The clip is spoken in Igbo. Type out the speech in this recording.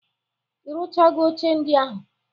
I rụchago oche ndị ahụ?